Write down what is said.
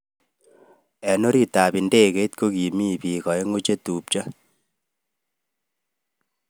Eng orit ab ndegeit kokimitei bik aeng chetubjo.